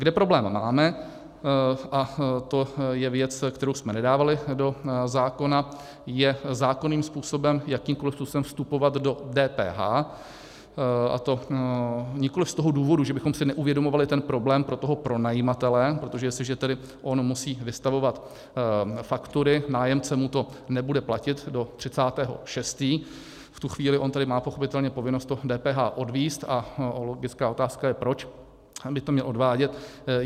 Kde problém máme, a to je věc, kterou jsme nedávali do zákona, je zákonným způsobem, jakýmkoliv způsobem vstupovat do DPH, a to nikoliv z toho důvodu, že bychom si neuvědomovali ten problém pro toho pronajímatele, protože jestliže tedy on musí vystavovat faktury, nájemce mu to nebude platit do 30. 6., v tu chvíli on tedy má pochopitelně povinnost to DPH odvést, a logická otázka je, proč by to měl odvádět.